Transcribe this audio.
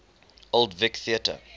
old vic theatre